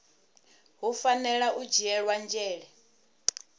hu fanela u dzhielwa nzhele